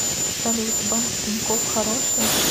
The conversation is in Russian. салют банк тинькофф хороший